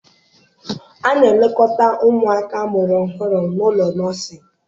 A na-elekọta ụmụaka amụrụ ọhụrụ n'ụlọ nọsịn.